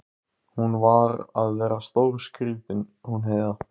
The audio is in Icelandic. Hún var að verða stórskrýtin hún Heiða.